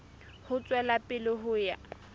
ho tswela pele ho ya